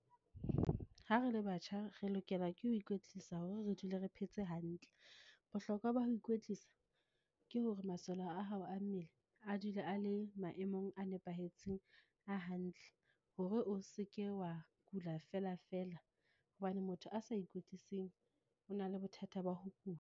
Ha re le batjha, re lokela ke ho ikwetlisa hore re dule re phetse hantle. Bohlokwa ba ho ikwetlisa, ke hore masole a hao a mmele a dule a le e maemong a nepahetseng a hantle. Hore o seke wa kula felafela, hobane motho a sa ikwetlising o na le bothata ba ho kula.